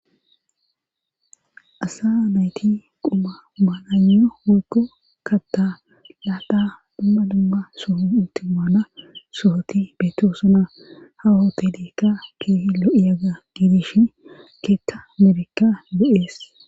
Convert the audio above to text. asa nayti quma maananyo wakko katta laata dumma dumma soho utti maana sohoti beetosana ha otelikka keehi lo7iyaga giidishin keetka amerika be7ees